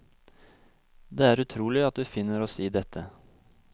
Det er utrolig at vi finner oss i dette.